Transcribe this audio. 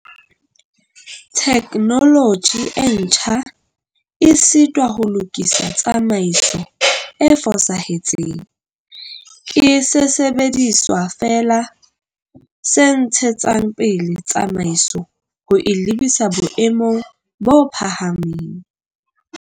Theknoloji e ntjha e sitwa ho lokisa tsamaiso e fosahetseng, ke sesebediswa feela se ntshetsang pele tsamaiso ho e lebisa boemong bo phahameng.